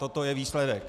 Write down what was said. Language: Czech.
Toto je výsledek.